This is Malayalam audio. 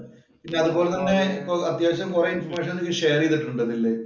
പിന്നെ അതുപോലെ തന്നെ അത്യാവശ്യം കൊറേ ഇന്‍ഫര്‍മേഷന്‍ നിനക്ക് ഷെയര്‍ ചെയ്തിട്ടുണ്ട് അതില്.